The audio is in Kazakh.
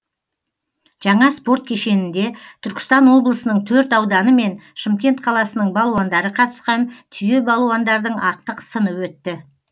жаңа спорт кешенінде түркістан облысының төрт ауданы мен шымкент қаласының балуандары қатысқан түйе балуандардың ақтық сыны өтті